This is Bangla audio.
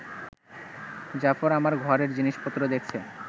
জাফর আমার ঘরের জিনিসপত্র দেখছে